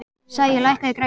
Sæi, lækkaðu í græjunum.